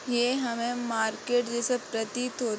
ये हमें मार्केट जैसा प्रतीत हो --